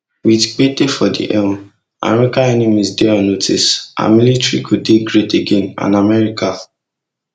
wit pete for di helm america enemies dey on notice our military go dey great again and america